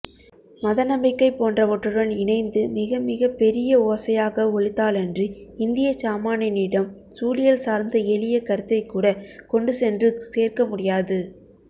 மதநம்பிக்கை போன்றவற்றுடன் இணைந்து மிகமிகப்பெரிய ஓசையாக ஒலித்தாலன்றி இந்தியச் சாமானியனிடம் சூழியல் சார்ந்த எளிய கருத்தைக்கூடக் கொண்டுசென்று சேர்க்கமுடியாது